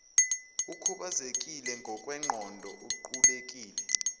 ukhubazekile ngokwengqondo uqulekile